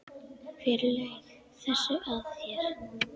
Hver laug þessu að þér?